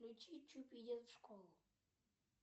включи чупи идет в школу